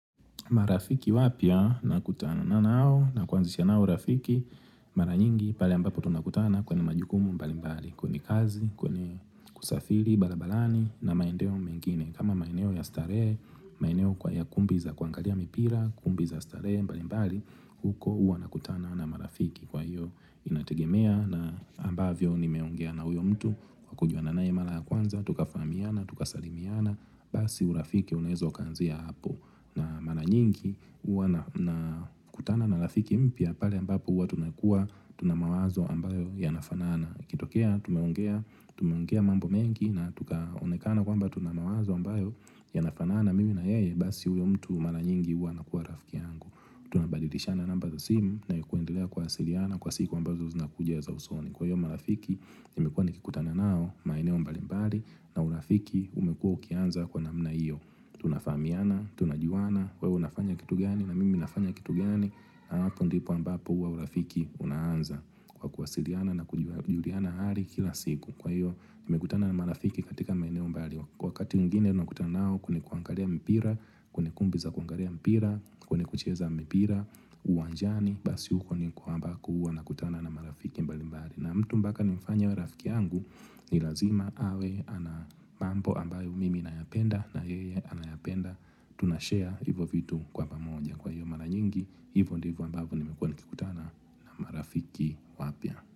Marafiki wapya nakutana nao na kuanzisha nao urafiki mara nyingi pale ambapo tunakutana kwenye majukumu mbali mbali kwenye kazi kwenye kusafiri barabarani na maeneo mengine kama maeneo ya starehe maeneo kwa ya kumbi za kuangalia mipira kumbi za starehe mbali mbali huko huwa nakutana na marafiki kwa hiyo inategemea na ambavyo nimeongea na huyo mtu kwa kujuana naye mara kwanza tukafahamiana tukasalimiana basi urafiki unaweza ukaanzia hapo na mara nyingi huwa nakutana na rafiki mpya pale ambapo huwa tunakuwa tuna mawazo ambayo yanafanana akitokea tumeongea mambo mengi na tukaonekana kwamba tuna mawazo ambayo yanafanana Mimi na yeye basi huyo mtu mara nyingi huwa anakuwa rafiki yangu Tunabadilishana namba za simu na kuendelea kuwasiliana kwa siku ambazo zinakuja za usoni. Kwa hiyo marafiki nimekuwa nikikutana nao maeneo mbalimbali na urafiki umekuwa ukianza kwa namna iyo Tunafahamiana, tunajuana, wewe unafanya kitu gani na mimi nafanya kitu gani na hapo ndipo ambapo huwa urafiki unaanza kwa kuwasiliana na kujuliana hali kila siku. Kwa hiyo, nimekutana na marafiki katika maeneo mbali. Wakati mwingine. Nimekutana nao kwenye kuangalia mpira, kwenye kumbi za kuangalia mpira, kwenye kucheza mpira, uwanjani Basi huko ni kule ambako huwa nakutana na marafiki mbali mbali na mtu mpaka nimfanye awe rafiki yangu ni lazima awe ana mambo ambayo mimi nayapenda na yeye anayapenda Tunashare hivyo vitu kwa pamoja kwa hivyo mara nyingi hivyo ndivyo ambayo nimekuwa nikikutana marafiki wapya.